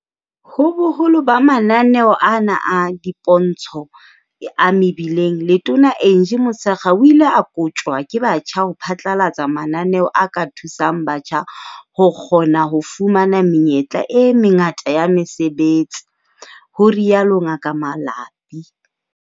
Ho boholo ba mananeo ana a dipontsho a mebileng. Letona Angie Motshekga o ile a koptjwa ke batjha ho phatlalatsa mananeo a ka thusang batjha ho kgona ho fumana menyetla e mengata ya mesebetsi, ho rialo Ngaka Malapi.